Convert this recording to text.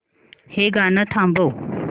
हे गाणं थांबव